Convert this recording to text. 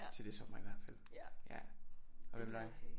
Til det er sommer i hvert fald ja og hvad med dig